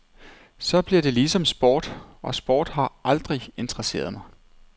Så bliver det ligesom sport, og sport har aldrig interesseret mig.